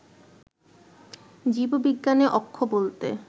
জীববিজ্ঞানে অক্ষ বলতে